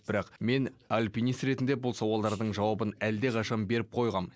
бірақ мен альпинист ретінде бұл сауалдардың жауабын әлдеқашан беріп қойғам